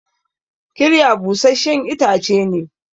kirya busasshen itace ne